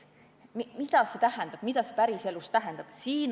Mida see päriselus tähendab?